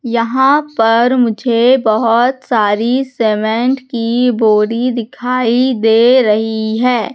यहां पर मुझे बहुत सारी सीमेंट की बोरी दिखाई दे रही है।